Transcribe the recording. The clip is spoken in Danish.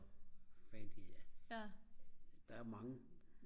der er mange